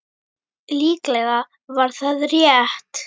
Líklega var það rétt.